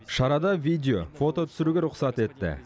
шарада видео фото түсіруге рұқсат етті